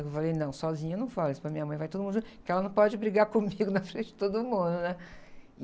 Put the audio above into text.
Eu falei, não, sozinha eu não falo isso para minha mãe, vai todo mundo junto, porque ela não pode brigar comigo na frente de todo mundo, né?